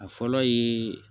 A fɔlɔ ye